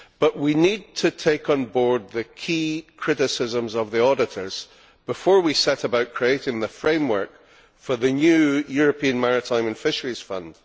But we need to take on board the key criticisms of the Auditors before we set about creating the framework for the new European Maritime and Fisheries Fund.